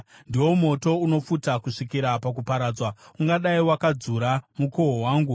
Ndiwo moto unopfuta kusvikira pakuparadzwa; ungadai wakadzura mukohwo wangu.